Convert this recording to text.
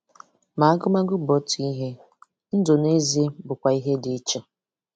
Ma agụmagụ bụ otu ihe, ndụ n’ezie bụkwa ihe dị iche.